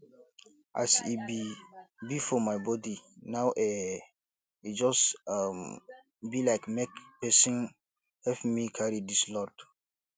as e be be for my body now eh e just um be like make pesin help me carry dis load